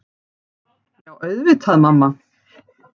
Já auðvitað mamma.